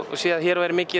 séð að hér væri mikið